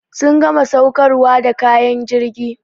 Sun gama saukarwa da kayan jirgi.